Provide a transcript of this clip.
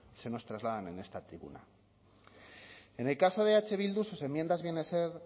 se nos trasladan en esta tribuna en el caso de eh bildu sus enmiendas vienen a ser